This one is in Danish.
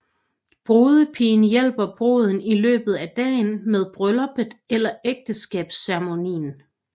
Brudepigen hjælper bruden i løbet af dagen med brylluppet eller ægteskabsceremonien